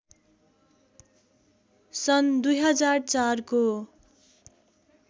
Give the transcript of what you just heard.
सन् २००४ को